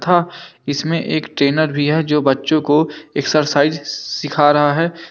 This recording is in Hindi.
था इसमें एक ट्रेनर भी है जो बच्चों को एक्सरसाइज सीखा रहा है।